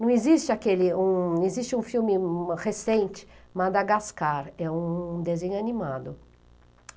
Não existe aquele um existe um filme recente, Madagascar, é um desenho animado.